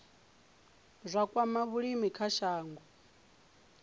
zwa kwama vhulimi kha shango